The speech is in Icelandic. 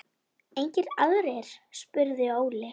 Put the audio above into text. Engir aðrir? spurði Óli.